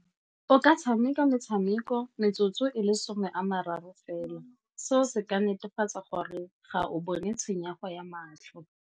O ka tshameka metshameko metsotso e le some a mararo fela, seo se ka netefatsa gore ga o bone tshenyego ya matlho.